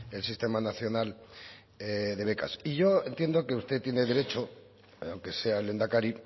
el sistema nacional de becas y yo entiendo que usted tiene derecho aunque sea el lehendakari